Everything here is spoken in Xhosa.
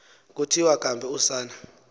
kuthiwa kambe usana